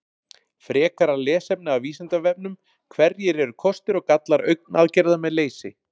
Frekara lesefni af Vísindavefnum: Hverjir eru kostir og gallar augnaðgerða með leysi?